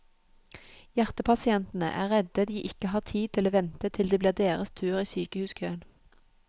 Hjertepasientene er redd de ikke har tid til å vente til det blir deres tur i sykehuskøen.